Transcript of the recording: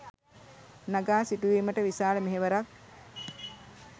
නඟා සිටුවීමට විශාල මෙහෙවරක්